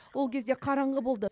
ол кезде қараңғы болды